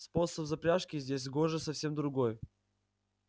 способ запряжки здесь гоже совсем другой